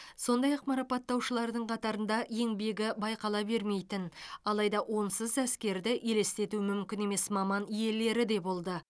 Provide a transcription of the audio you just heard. сондай ақ марапатталушылардың қатарында еңбегі байқала бермейтін алайда онсыз әскерді елестету мүмкін емес маман иелері де болды